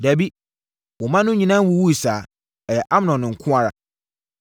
Dabi, wo mma no nyinaa nwuwuiɛ saa. Ɛyɛ Amnon nko ara.”